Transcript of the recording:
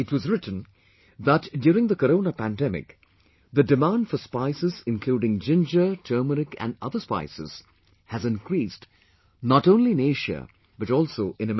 It was written that, during the Corona pandemic, the demand for spices including ginger, turmeric and other spices has increased not only in Asia but also in America